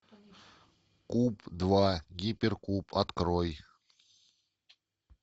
куб два гиперкуб открой